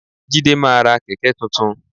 Jídé máa ra kẹ̀kẹ́ tuntun.